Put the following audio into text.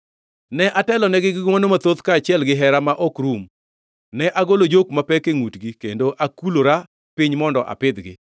Ne atelonegi gi ngʼwono mathoth kaachiel gihera ma ok rum; ne agolo jok mapek e ngʼutgi kendo akulora piny mondo apidhgi.